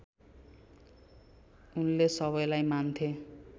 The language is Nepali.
उनले सबैलाई मान्थे